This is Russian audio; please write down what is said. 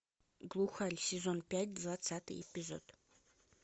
глухарь сезон пять двадцатый эпизод